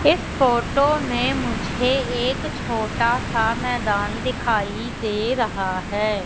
इस फोटो मे मुझे एक छोटा सा मैदान दिखाई दे रहा है।